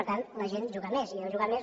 per tant la gent juga més i deu jugar més